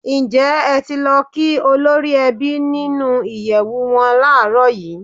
Ǹjẹ́ ẹ ti lọ kí olórí ẹbí nínú ìyẹ̀wù wọn láàrọ̀ yìí?